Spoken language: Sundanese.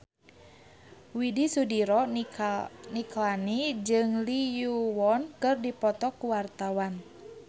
Widy Soediro Nichlany jeung Lee Yo Won keur dipoto ku wartawan